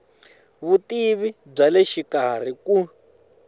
vutivi bya le xikarhi ku